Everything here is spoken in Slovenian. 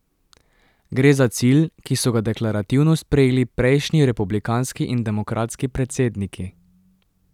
Gre za cilj, ki so ga deklarativno sprejeli prejšnji republikanski in demokratski predsedniki.